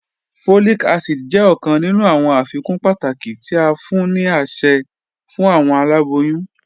Folic acid jẹ ọkan ninu awọn afikun pataki ti a fun ni aṣẹ fun awọn alaboyun.